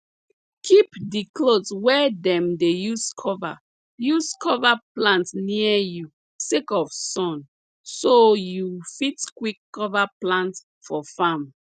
kip di cloth wey dem dey use cover use cover plant near you sake of sun so you fit quick cover plant for farm